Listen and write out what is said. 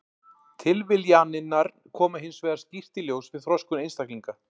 Tilviljanirnar koma hins vegar skýrt í ljós við þroskun einstaklinga.